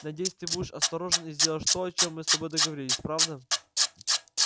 надеюсь ты будешь осторожен и сделаешь то о чем мы с тобой договорились правда